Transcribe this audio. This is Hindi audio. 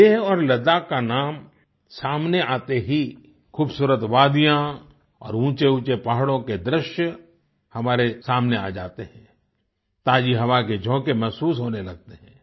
लेह और लद्दाख का नाम सामने आते ही खुबसूरत वादियाँ और ऊँचेऊँचे पहाड़ों के दृश्य हमारे सामने आ जाते हैं ताज़ी हवा के झोंके महसूस होने लगते हैं